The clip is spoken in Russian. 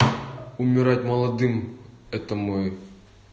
умирать молодым это мой